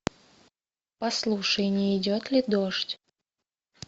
послушай не идет ли дождь